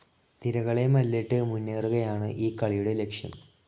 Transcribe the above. തിരകളെ മല്ലിട്ട് മുന്നേറുകയാണ് ഈ കളിയുടെ ലക്ഷ്യം.